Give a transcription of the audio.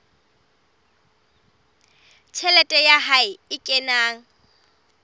tjhelete ya hae e kenang